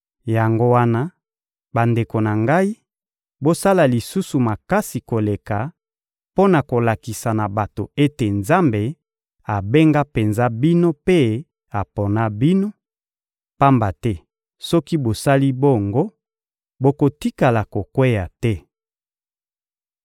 Yango wana, bandeko na ngai, bosala lisusu makasi koleka mpo na kolakisa na bato ete Nzambe abenga penza bino mpe apona bino; pamba te soki bosali bongo, bokotikala kokweya te.